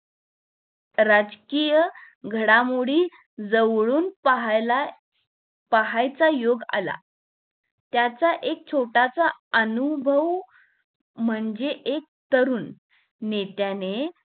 राजकीय घडामोडी जवळून पाहायला पाहायचा योग आला. त्याचा एक छोटासा अनुभव म्हणजे, एक तरुण नेत्याने